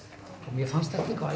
mér fannst þetta eitthvað